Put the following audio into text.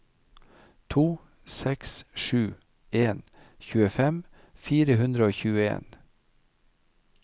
to seks sju en tjuefem fire hundre og tjueen